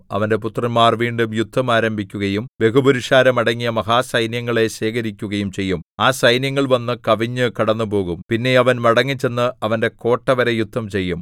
അവന്റെ പുത്രന്മാർ വീണ്ടും യുദ്ധം ആരംഭിക്കുകയും ബഹുപുരുഷാരം അടങ്ങിയ മഹാസൈന്യങ്ങളെ ശേഖരിക്കുകയും ചെയ്യും ആ സൈന്യങ്ങൾ വന്ന് കവിഞ്ഞ് കടന്നുപോകും പിന്നെ അവൻ മടങ്ങിച്ചെന്ന് അവന്റെ കോട്ടവരെ യുദ്ധം ചെയ്യും